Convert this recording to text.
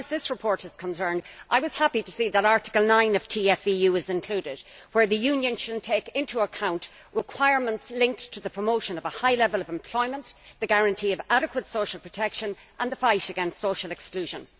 As far as this report is concerned, I was happy to see that Article 9 of TFEU is included, under which the Union will take into account requirements linked to the promotion of a high level of employment, the guarantee of adequate social protection and the fight against social exclusion.